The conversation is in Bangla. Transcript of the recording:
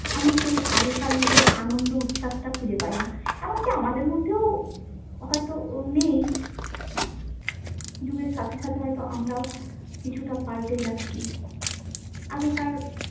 আমি সেই আগেকার মত আনন্দ উচ্ছ্বাসটা খুঁজে পাই না। এমনকি আমাদের মধ্যেও হয়ত নেই। যুগের সাথে সাথে হয়ত আমরাও কিছুটা পালটে যাচ্ছি, আগেকার।